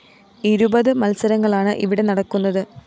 ഇരുപത് മത്സരങ്ങളാണ് ഇവിടെ നടക്കുന്നത്